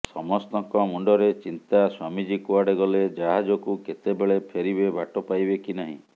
ସମସ୍ତଙ୍କ ମୁଣ୍ଡରେ ଚିନ୍ତା ସ୍ୱାମୀଜୀ କୁଆଡେ ଗଲେ ଜାହଜକୁ କେତେବେଳେ ଫେରିବେ ବାଟ ପାଇବେ କି ନାହିଁ